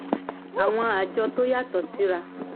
àwọn àjọ tó yàtọ̀ síra